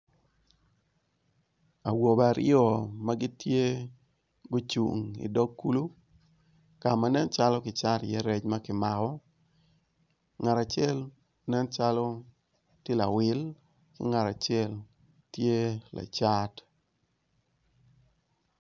Awobe aryo magitye gucung i dog kulu kama nen cala kama kicato i ye rec makimako ngat acel nen calo tye lawil ci ngat acel tye lacat.